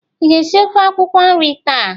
Ị ga-esi ofe akwụkwọ nri taa?